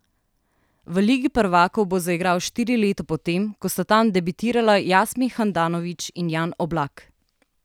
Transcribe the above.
V ligi prvakov bo zaigral štiri leta po tem, ko sta tam debitirala Jasmin Handanović in Jan Oblak.